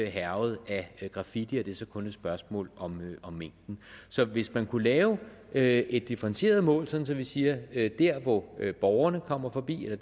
hærget af graffiti så kun et spørgsmål om mængden så hvis man kunne lave lave et differentieret mål sådan så vi siger at der hvor borgerne kommer forbi og